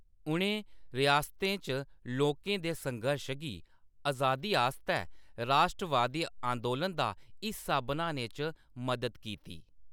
उʼनें रियासतें च लोकें दे संघर्श गी अजादी आस्तै राश्ट्रवादी आंदोलन दा हिस्सा बनाने च मदद कीती।